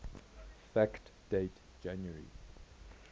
fact date january